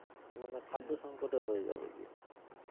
মানে খাদ্য সঙ্কট ও হয়ে যাবে গিয়ে।